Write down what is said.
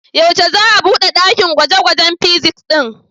Yaushe za'a bude ɗakin gwaje-gwajen fizics ɗin?